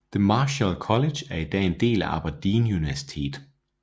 The Marischal College er i dag en del af Aberdeen Universitet